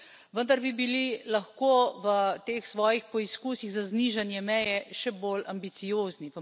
Vendar bi bili lahko v teh svojih poizkusih za znižanje meje še bolj ambiciozni.